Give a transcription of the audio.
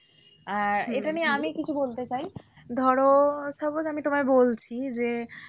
আহ এটা আর এটা নিয়ে আমি কিছু বলতে চাই ধরো suppose আমি তোমায় বলছি। যে,